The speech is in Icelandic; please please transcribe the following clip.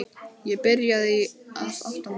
Ég byrjaði að átta mig.